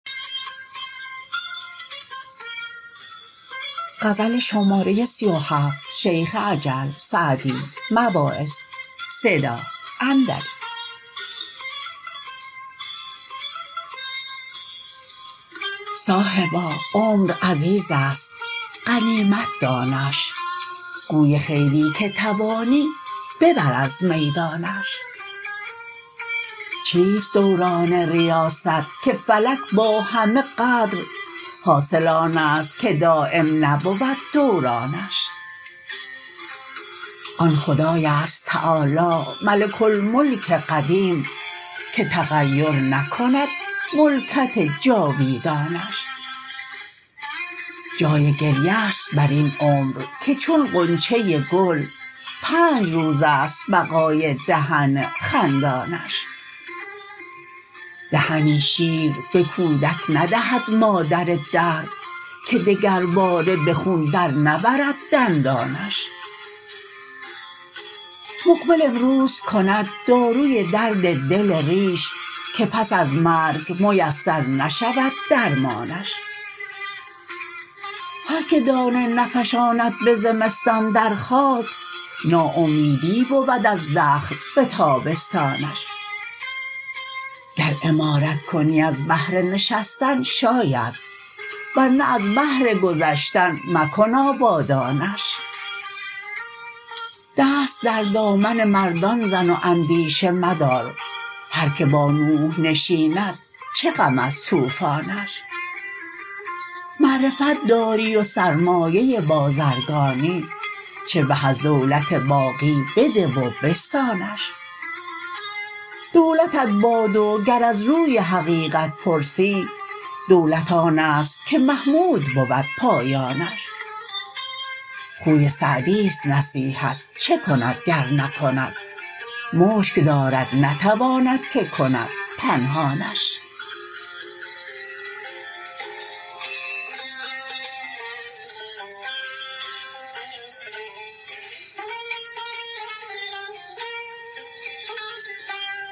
صاحبا عمر عزیز است غنیمت دانش گوی خیری که توانی ببر از میدانش چیست دوران ریاست که فلک با همه قدر حاصل آن است که دایم نبود دورانش آن خدای است تعالی ملک الملک قدیم که تغیر نکند ملکت جاویدانش جای گریه ست بر این عمر که چون غنچه گل پنج روز است بقای دهن خندانش دهنی شیر به کودک ندهد مادر دهر که دگرباره به خون در نبرد دندانش مقبل امروز کند داروی درد دل ریش که پس از مرگ میسر نشود درمانش هر که دانه نفشاند به زمستان در خاک ناامیدی بود از دخل به تابستانش گر عمارت کنی از بهر نشستن شاید ور نه از بهر گذشتن مکن آبادانش دست در دامن مردان زن و اندیشه مدار هر که با نوح نشیند چه غم از طوفانش معرفت داری و سرمایه بازرگانی چه به از دولت باقی بده و بستانش دولتت باد و گر از روی حقیقت پرسی دولت آن است که محمود بود پایانش خوی سعدیست نصیحت چه کند گر نکند مشک دارد نتواند که کند پنهانش